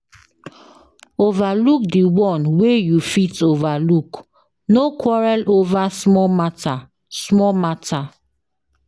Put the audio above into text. Overlook di one wey you fit overlook no quarrel over small matter small matter